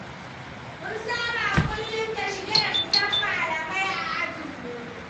Mun saba kullum da shige da ficen malamai a ajinmu.